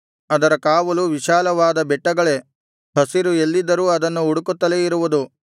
ಅದರ ಕಾವಲು ವಿಶಾಲವಾದ ಬೆಟ್ಟಗಳೇ ಹಸಿರು ಎಲ್ಲಿದ್ದರೂ ಅದನ್ನು ಹುಡುಕುತ್ತಲೇ ಇರುವುದು